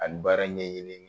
A bi baara ɲɛni.